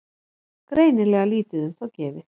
Greinilega lítið um þá gefið.